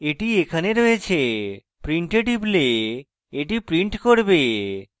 এটি এখানে রয়েছে print এ টিপলে এটি print করবে